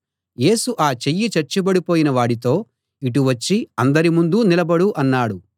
యేసు ఆ చెయ్యి చచ్చుబడిపోయిన వాడితో ఇటు వచ్చి అందరి ముందూ నిలబడు అన్నాడు